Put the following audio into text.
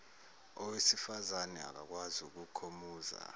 owesifazane akakwazi ukukhomuza